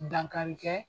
Dankarikɛ